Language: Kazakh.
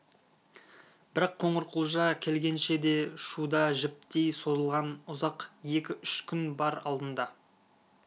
бірақ қоңырқұлжа келгенше де шуда жіптей созылған ұзақ екі-үш күн бар алдында